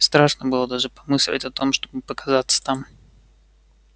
страшно было даже помыслить о том чтобы показаться там